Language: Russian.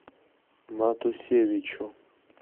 матусевичу